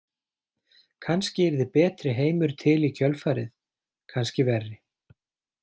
Kannski yrði betri heimur til í kjölfarið, kannski verri.